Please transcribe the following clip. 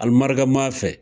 Almaraka ma fɛ